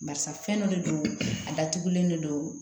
Barisa fɛn dɔ de don a datugulen de don